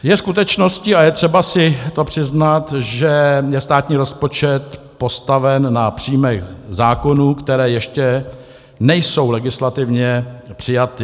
Je skutečností, a je třeba si to přiznat, že je státní rozpočet postaven na příjmech zákonů, které ještě nejsou legislativně přijaty.